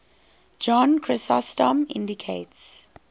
john chrysostom indicates